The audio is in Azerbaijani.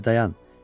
Bir dayan.